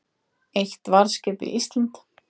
Eitt varðskip við Ísland